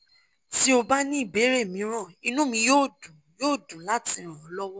tí o bá ní ìbéèrè mìíràn inú mi yóò dùn yóò dùn láti ràn ọ́ lọ́wọ́